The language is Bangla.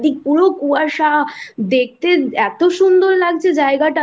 চারিদিক পুরো কুয়াশা দেখতে এতো সুন্দর লাগছে জায়গাটা